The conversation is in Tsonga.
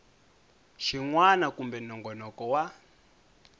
xin wana kumbe nongonoko wa